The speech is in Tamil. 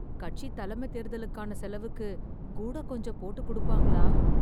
கட்சித் தலைமை தேர்தலுக்கான செலவுக்கு கூடகொஞ்சம் போட்டு கொடுப்பாங்களா...